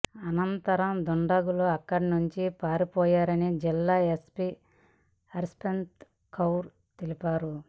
అనంతరం దుండగులు అక్కడి నుంచి పారిపోయారని జిల్లా ఎస్పి హర్ప్రీత్ కౌర్ తెలిపారు